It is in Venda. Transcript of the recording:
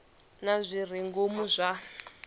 na zwi re ngomu zwa